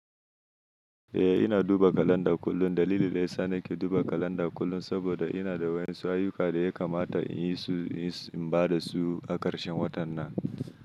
Eh ina duba kalanda kullum. Dalili daya sani ke duba kalanda kullum saboda ina da wa'yansu ayyuka da ya kamata in yi su, in bada su a karshen watan nan.